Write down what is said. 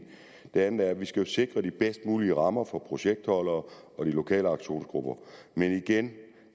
det andet er at vi skal sikre de bedst mulige rammer for projektholdere og de lokale aktionsgruppee men igen